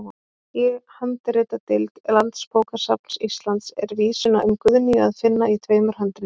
Í handritadeild Landsbókasafns Íslands er vísuna um Guðnýju að finna í tveimur handritum.